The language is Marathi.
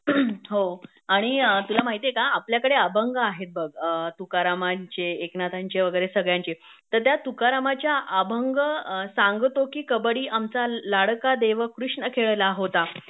हो आणि तुला माहितिएका आपल्याकडे अभंग आहेत बघ तुकारामांचे, एकनाथांचे वगैरे सगळ्यांचे तर त्या तुकारामाच्या अभंग सांगतो कि कबड्डी आमचा लाडका देव कृष्ण खेळला होता